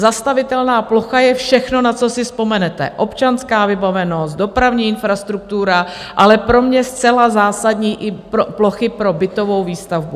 Zastavitelná plocha je všechno, na co si vzpomenete - občanská vybavenost, dopravní infrastruktura, ale pro mě zcela zásadní, i plochy pro bytovou výstavbu.